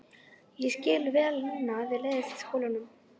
Ég skil vel núna að þér leiðist í skóla.